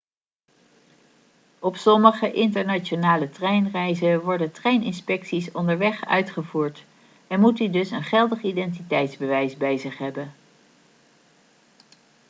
op sommige internationale treinreizen worden treininspecties onderweg uitgevoerd en moet u dus een geldig identiteitsbewijs bij zich hebben